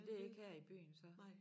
Men det ikke her i byen så